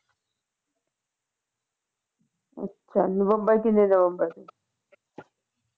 ਅੱਛਾ ਨਵੰਬਰ ਕਿੰਨੇ ਨਵੰਬਰ ਦੀ